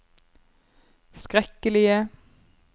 skrekkelige